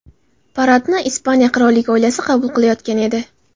Paradni Ispaniya qirollik oilasi qabul qilayotgan edi.